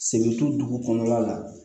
Sen to dugu kɔnɔna la